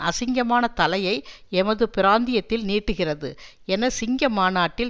அசிங்கமான தலையை எமது பிராந்தியத்தில் நீட்டுகிறது என சிங்க மாநாட்டில்